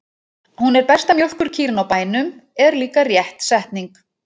Hún er besta mjólkurkýrin á bænum, er líka rétt setning.